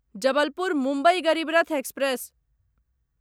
Jabalpur Mumbai Garib Rath express